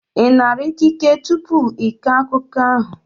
Ị nara ikike tupu ị kọọ akụkọ ahụ?